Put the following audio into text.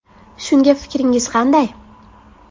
Shunga fikringiz qanday?